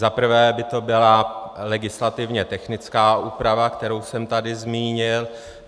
Zaprvé by to byla legislativně technická úprava, kterou jsem tady zmínil.